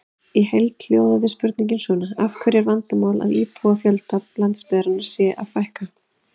Í heild hljóðaði spurningin svona: Af hverju er vandamál að íbúafjölda landsbyggðarinnar sé að fækka?